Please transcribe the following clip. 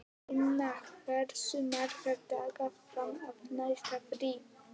Inna, hversu margir dagar fram að næsta fríi?